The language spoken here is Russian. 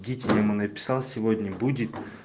дите я ему написал сегодня будет